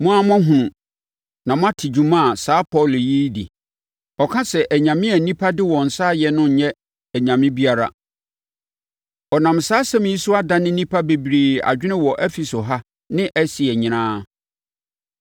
Mo ara moahunu, na moate dwuma a saa Paulo yi redi. Ɔka sɛ, anyame a nnipa de wɔn nsa ayɛ no nyɛ anyame biara. Ɔnam saa asɛm yi so adane nnipa bebree adwene wɔ Efeso ha ne Asia nyinaa.